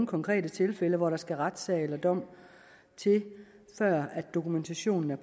konkrete tilfælde hvor der skal retssag eller dom til før dokumentationen er